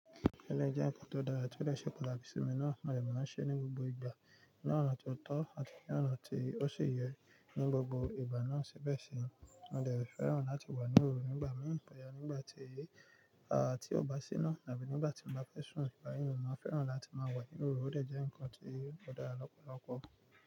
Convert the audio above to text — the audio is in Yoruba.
Eleyii jẹ́ nǹkan tó dára tí ó lè ṣe pataki sí mi náà, mo dẹ̀ máa ń ṣe é ní gbogbo ìgbà. Ní ọ̀nà tó tọ́ àti ní ọ̀nà tí ó sì yẹ. Ní gbogbo ìgbà náà sibẹ̀ sí, mo dẹ̀ fẹ́ràn láti wà ní òru nígbà mìíràn pẹ̀lú nígbà tí, à tí o bá sí ina tàbí nígbà tí mo bá fẹ́ sùn. Nígbà mìíràn mo máa fẹ́ràn láti máa wà ní òru, ó dẹ̀ jẹ́ nǹkan tí ó dára lọ́pọ̀lọpọ̀